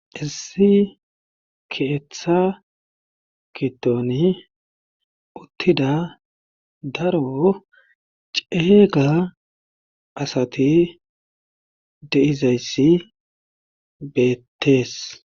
Issi keeththa gidon uttida daro ceega asati de'izayssi beetees.